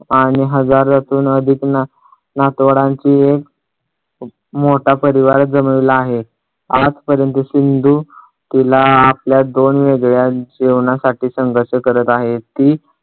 आणि हजारातून अधिक नात अह नातवंडांचे मोठा परिवार जमवला आहे. आजपर्यंत सिंधू तिला आपल्या दोन वेगळ्या जेवणासाठी संघर्ष करत आहे ती